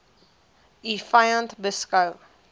u vyand beskou